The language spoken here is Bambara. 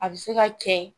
A bɛ se ka kɛ